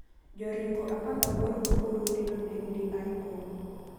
Joringo apagaboro ma Burundi noneg Dr Congo